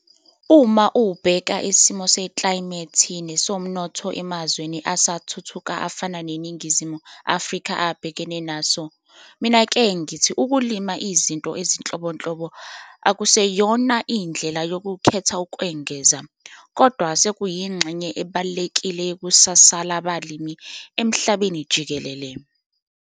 Uma ubheka isimo seklayimethi nesomnotho emazweni asathuthuka afana neNingizimu Afrika abhekene naso, minake ngithi ukulima izinto ezinhlobonhlo akuseyona indlela yokukhetha ukwengeza, kodwa sekuyingxenye ebalulekile yekusasa labalimi emhlabeni jikelele.